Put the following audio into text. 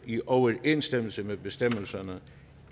i overensstemmelse med bestemmelserne